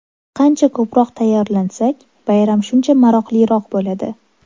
Qancha ko‘proq tayyorlansak, bayram shuncha maroqliroq bo‘ladi!